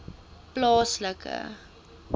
plaaslike